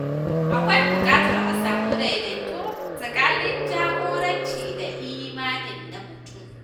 Akwai buƙatar a samu daidaito tsakanin jagoranci da imani na mutum